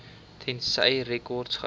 tensy rekords gehou